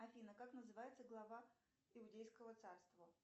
афина как называется глава иудейского царства